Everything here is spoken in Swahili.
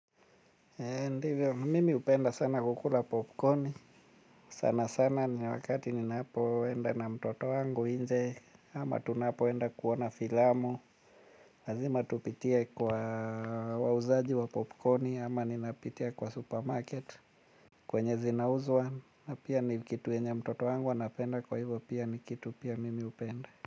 Ndivyo mimi hupenda sana kukula popcorni. Sana sana ni wakati ninapoenda na mtoto wangu nje ama tunapoenda kuona filamu. Lazima tupitie kwa wauzaji wa popcorni ama ninapitia kwa supermarket. Kwenye zinauzwa na pia ni kitu yenye mtoto wangu anapenda kwa hivyo pia ni kitu pia mimi hupenda.